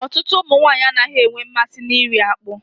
Ọtụtụ ụmụ nwaanyị anaghị enwe mmasị na iri akpụ.